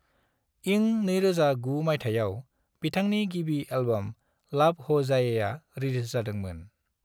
इं 2009 माइथायाव, बिथांनि गिबि एल्बम लव हो जाएआ, रिलिज जादोंमोन।